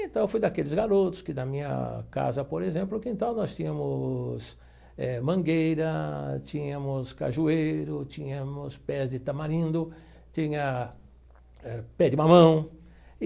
Então, fui daqueles garotos que, da minha casa, por exemplo, o quintal, nós tínhamos eh mangueira, tínhamos cajueiro, tínhamos pés de tamarindo, tinha pé de mamão.